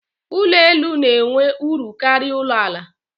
Ụlọ elu n'enwe uru karịa ụlọ àlà